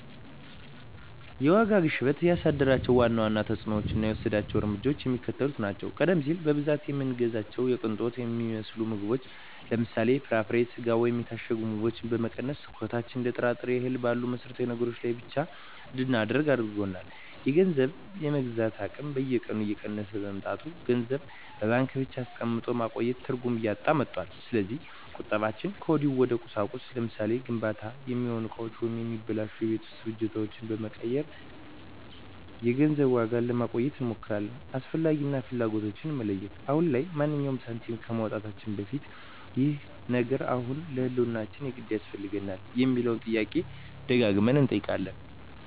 የዋጋ ግሽበቱ ያሳደራቸው ዋና ዋና ተፅዕኖዎችና የወሰድናቸው እርምጃዎች የሚከተሉት ናቸው፦ ቀደም ሲል በብዛት የምንገዛቸውን የቅንጦት የሚመስሉ ምግቦችን (ለምሳሌ፦ ፍራፍሬ፣ ስጋ ወይም የታሸጉ ምግቦች) በመቀነስ፣ ትኩረታችንን እንደ ጥራጥሬና እህል ባሉ መሠረታዊ ነገሮች ላይ ብቻ እንድናደርግ አድርጎናል። የገንዘብ የመግዛት አቅም በየቀኑ እየቀነሰ በመምጣቱ፣ ገንዘብን በባንክ ብቻ አስቀምጦ ማቆየት ትርጉም እያጣ መጥቷል። ስለዚህ ቁጠባችንን ወዲያውኑ ወደ ቁሳቁስ (ለምሳሌ፦ ለግንባታ የሚሆኑ እቃዎች ወይም የማይበላሹ የቤት ውስጥ ፍጆታዎች) በመቀየር የገንዘቡን ዋጋ ለማቆየት እንሞክራለን። "አስፈላጊ" እና "ፍላጎት"ን መለየት፦ አሁን ላይ ማንኛውንም ሳንቲም ከማውጣታችን በፊት "ይህ ነገር አሁን ለህልውናችን የግድ ያስፈልጋል?" የሚለውን ጥያቄ ደጋግመን እንጠይቃለን።